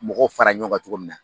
Mɔgɔw fara ɲɔn kan cogo min na.